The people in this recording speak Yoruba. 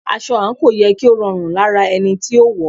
Aṣọ àǹkóò yẹ kí ó rọrùn lára ẹni tí ó wọ̀ọ́.